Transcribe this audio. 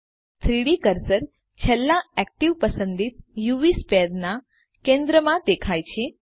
3ડી કર્સર છેલ્લા એક્ટીવ પસંદિત યુવી સ્ફિયર ના કેન્દ્રમાં દેખાયછે